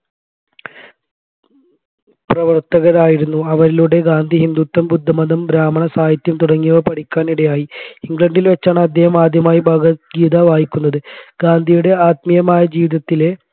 പ്രവർത്തകരായിരുന്നു അവരിലൂടെ ഗാന്ധി ഹിന്ദുത്വം ബുദ്ധമതം ബ്രാഹ്മണസാഹിത്യം തുടങ്ങിയവ പഠിക്കാൻ ഇടയായി ഇംഗ്ലണ്ടിൽ വച്ചാണ് അദ്ദേഹം ആദ്യമായി ഭഗവത് ഗീത വായിക്കുന്നത് ഗാന്ധിയുടെ ആത്മീയമായ ജീവിതത്തിലെ